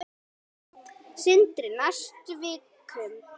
Sindri: Næstu vikum?